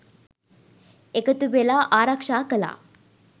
එකතු වෙලා ආරක්ෂා කළා.